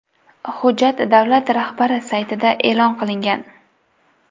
Hujjat davlat rahbari saytida e’lon qilingan.